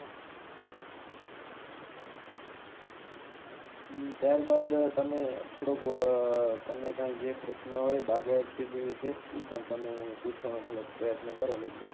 હમ ત્યારબાદ તમે થોડોક ઉહ તમને કાય જે પ્રશન હોય બાગાયત ખેતી વિષે ઇ પણ તમે પૂછવાનો થોડોક પ્રયત્ન કરો મિતભાઈ